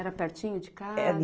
Era pertinho de casa?